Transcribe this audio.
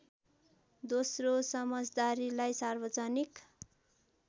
दोस्रो समझदारीलाई सार्वजनिक